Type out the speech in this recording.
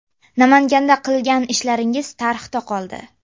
Namanganda qilgan ishlaringiz tarixda qoldi.